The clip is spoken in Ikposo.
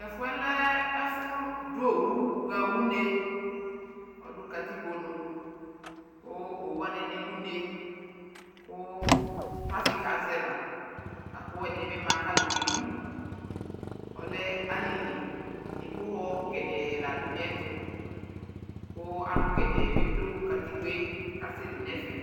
aka kpɔ ʋnɔ kʋɔsii ɛtwʋ ɛƒʋa kala, adʋ ʋƒa nʋ ɛmɔ nʋʋwɔ nʋanatsɛ ɛkʋalʋ kɔ kʋaka kɔsʋ ma